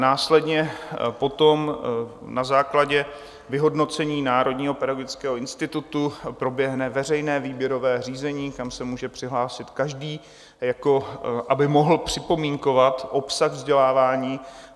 Následně potom na základě vyhodnocení Národního pedagogického institutu proběhne veřejné výběrové řízení, kam se může přihlásit každý, aby mohl připomínkovat obsah vzdělávání.